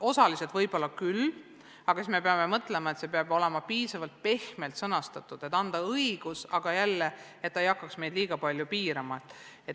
Osaliselt võib-olla küll, aga siis me peame mõtlema selle peale, et see oleks sõnastatud piisavalt pehmelt, et see annaks küll õiguse, aga ei hakkaks meid liiga palju piirama.